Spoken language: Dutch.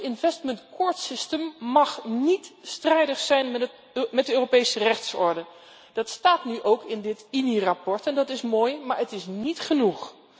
Dan tot slot, het investment court system mag niet strijdig zijn met de Europese rechtsorde. Dat staat ook in dit INI verslag en dat is mooi, maar het is niet genoeg.